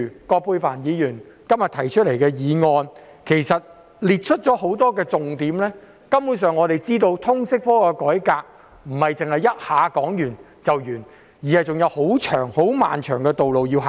葛珮帆議員今天提出的議案指出了多個重點，我們由此可知，通識科的改革並非一下子可以完成，還有很長的路要走。